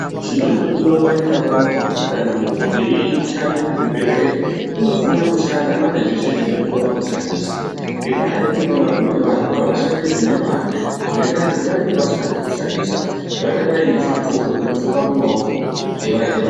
Chinondodiwa panyika panapa kuti kana muntu eishande muzvibhedhlera unofana kushanda ane zveshe zvinodiwa pakushandisa ngendaa yekuti vamweni vantu avashandi nemazvo ngendaa yekuti panenge pasina zvekushandisa. Zvakadai ngezvidhloko zvinopfekwa mumaoko eva.